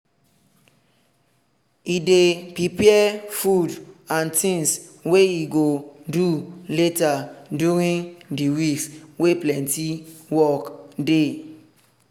e dey prepare food and things wey e go do later during the weeks wey plenty work dey.